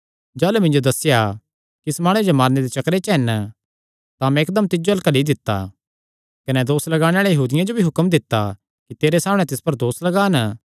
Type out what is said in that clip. जाह़लू मिन्जो दस्सेया कि इस माणुये जो मारने दे चक्करे हन तां मैं इकदम तिज्जो अल्ल घल्ली दित्ता कने दोस लगाणे आल़े यहूदियां जो भी हुक्म दित्ता कि तेरे सामणै तिस पर दोस लगान